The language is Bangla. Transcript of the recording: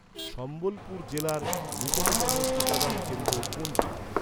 সম্বলপুর জেলার নিকটতম টিকাদান কেন্দ্র কোনটি?